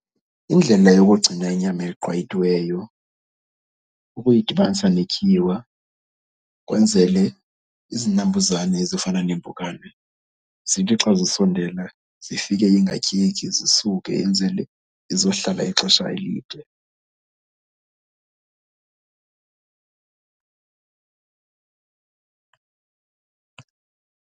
Indlela yokugcina inyama eqwayitiweyo kukuyidibanisa netyiwa kwenzele izinambuzane ezifana neempukane zithi xa zisondela zifike ingatyeki zisuke, enzele izohlala ixesha elide.